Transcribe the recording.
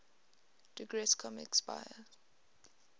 digress comics buyer